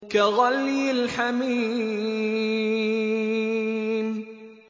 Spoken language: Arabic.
كَغَلْيِ الْحَمِيمِ